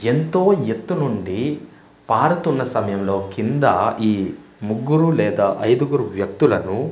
ఎంతో ఎత్తు నుండి పారుతున్న సమయం లో కింద ఈ ముగ్గురు లేదా ఐదుగురు వ్యక్తులను--